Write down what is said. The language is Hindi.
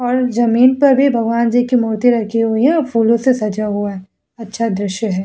और जमीन पर भी भगवान जी की मूर्ति रखी हुई है फूलो से सजा हुआ है अच्छा दृश्य है।